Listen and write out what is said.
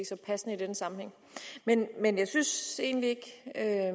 så passende i denne sammenhæng men jeg synes egentlig ikke